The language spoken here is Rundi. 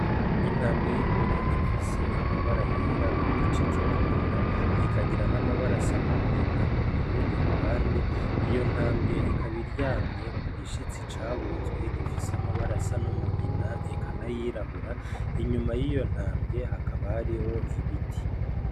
Intambwe y'ingore ifise amabara yera ku gice co kunda ikagira n'amabara asa n'umugina kurundi ruhande, iyo ntambwe ikaba iryamye ku gishitsi cabunzwe gifise amabara asa n'umugina eka nayirabura inyuma y'iyo ntambwe hakaba hariho ibiti.